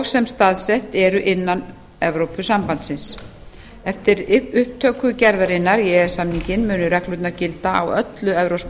sem staðsett eru innan evrópusambandsins eftir upptöku gerðarinnar í e e s samninginn munu reglurnar gilda á öllu evrópska